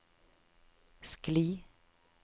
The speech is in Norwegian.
skli